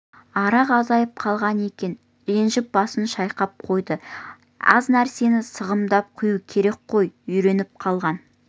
арақ азайып қалған екен ренжіп басын шайқап қойды аз нәрсені сығымдап құю керек қой үйреніп қалған